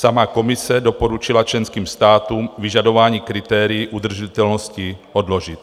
Sama Komise doporučila členským státům vyžadování kritérií udržitelnosti odložit.